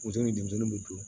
Muso ni denmisɛnnin bɛ dun